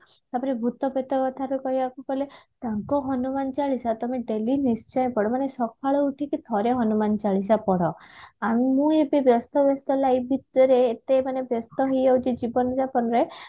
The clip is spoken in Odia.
ତାପରେ ଭୁତ ପେତ କଥା ବି କହିବାକୁ ଗଲେ ତାଙ୍କ ହନୁମାନ ଚାଳିଶା ତମେ daily ନିଶ୍ଚୟ ପଢିବ ମାନେ ସକାଳୁ ଉଠିକି ଥରେ ହନୁମାନ ଚାଳିଶା ପଢ ଆଉ ମୁଁ ଏବେ ବ୍ୟସ୍ତ ବ୍ୟସ୍ତ life ଭିତରେ ଏତେ ମାନେ ବ୍ୟସ୍ତ ହେଇଯାଉଛି ଜୀବନ ଜାପନ ରେ